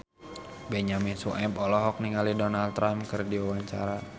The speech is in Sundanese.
Benyamin Sueb olohok ningali Donald Trump keur diwawancara